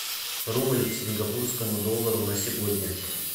рубль к сингапурскому доллару на сегодня